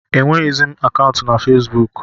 Enwezịghị m akaụntụ na Fesbuk.